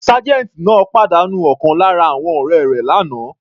Sergeant náà pàdánù ọ̀kan lára àwọn ọ̀rẹ́ rẹ̀ l'ana.